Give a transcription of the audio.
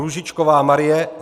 Růžičková Marie